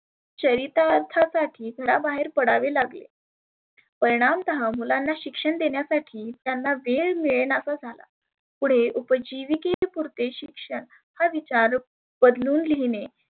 चरीतार्था साठी घरा बाहेर पडावे लागले. परिनामतः मुलांना शिक्षण देण्यासाठी त्यांना वेळ मिळनसा झाला. पुढे उपजिवीके पुरते शिक्षण हा विचार बदलून लिहीने